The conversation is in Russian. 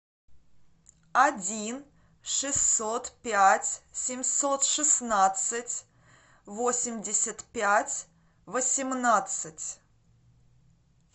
один шестьсот пять семьсот шестнадцать восемьдесят пять восемнадцать